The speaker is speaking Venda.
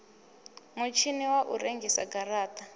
mutshini wa u rengisa garata